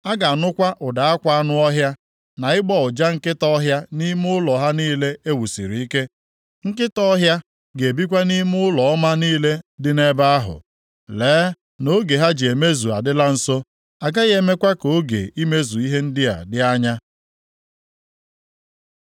A ga-anụkwa ụda akwa anụ ọhịa, na ịgbọ ụja nkịta ọhịa nʼime ụlọ ha niile e wusiri ike. Nkịta ọhịa ga-ebikwa nʼime ụlọ ọma niile dị nʼebe ahụ. Lee na oge ha ji emezu adịla nso, a gaghị emekwa ka oge imezu ihe ndị a dị anya.